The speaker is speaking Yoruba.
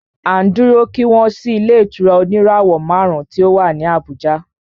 À ń dúró kí wọ́n ṣí ilé ìtura oníràwọ̀ márùn ùn tí o wá ní Abùjá.